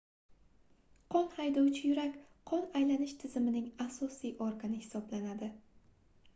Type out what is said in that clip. qon haydovchi yurak qon aylanish tizimining asosiy organi hisoblanadi